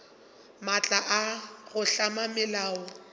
maatla a go hlama melao